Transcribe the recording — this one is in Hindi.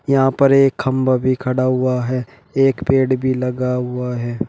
यहां पर एक खंभा भी खड़ा हुआ है एक पेड़ भी लगा हुआ है।